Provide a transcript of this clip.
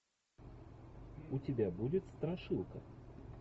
у тебя будет страшилка